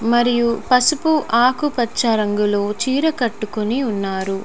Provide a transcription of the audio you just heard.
మరియు పసుపు ఆకుపచ్చ రంగులో చీర కట్టుకుని ఉన్నారు.